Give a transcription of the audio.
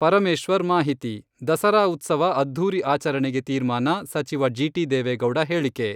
ಪರಮೇಶ್ವರ್ ಮಾಹಿತಿ, ದಸರಾ ಉತ್ಸವ ಅದ್ಧೂರಿ ಆಚರಣೆಗೆ ತೀರ್ಮಾನ ಸಚಿವ ಜಿ.ಟಿ.ದೇವೇಗೌಡ ಹೇಳಿಕೆ.